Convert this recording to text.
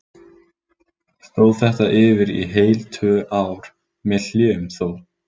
Stóð þetta yfir í heil tvö ár, með hléum þó.